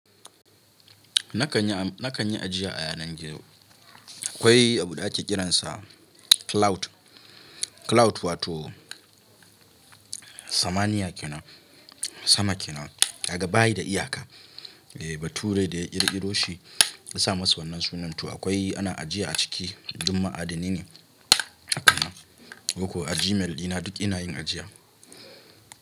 Na kan yi, na kan yi ajiya a yanar gizo. Akwai abu ɗaya ake kiransa cloud. Cloud wato samaniya kenan, sama kenan kaga bayi da iyaka. Eh bature da kirkiroshi yasa masa wannan sunan to akwai ana ajiya a ciki duk ma'adinai ne. Haka ne? Haka ko a Gmail ina duk ina yin ajiya.